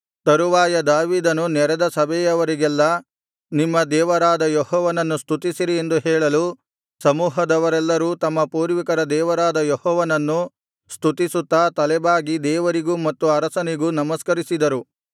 ತರುವಾಯ ದಾವೀದನು ನೆರೆದ ಸಭೆಯವರಿಗೆಲ್ಲಾ ನಿಮ್ಮ ದೇವರಾದ ಯೆಹೋವನನ್ನು ಸ್ತುತಿಸಿರಿ ಎಂದು ಹೇಳಲು ಸಮೂಹದವರೆಲ್ಲರೂ ತಮ್ಮ ಪೂರ್ವಿಕರ ದೇವರಾದ ಯೆಹೋವನನ್ನು ಸ್ತುತಿಸುತ್ತಾ ತಲೆಬಾಗಿ ದೇವರಿಗೂ ಮತ್ತು ಅರಸನಿಗೂ ನಮಸ್ಕರಿಸಿದರು